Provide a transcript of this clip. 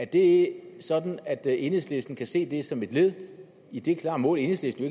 det sådan at enhedslisten kan se det som et led i det klare mål enhedslisten